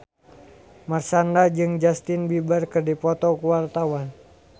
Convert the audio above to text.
Marshanda jeung Justin Beiber keur dipoto ku wartawan